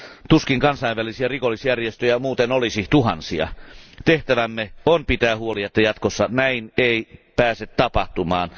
Tuskin kansainvälisiä rikollisjärjestöjä muuten olisi tuhansia. Tehtävämme on pitää huoli, että jatkossa näin ei pääse tapahtumaan.